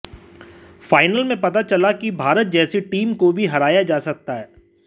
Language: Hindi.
फाइनल में पता चला कि भारत जैसी टीम को भी हराया जा सकता है